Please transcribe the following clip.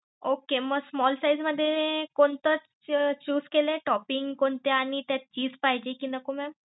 Okay मग small size मध्ये कोणतं choose केलं toping कोणत्या आणि त्यात चीज पाहिजे कि नको mam?